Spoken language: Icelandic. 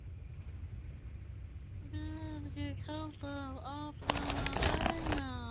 Vil ég halda áfram að dæma?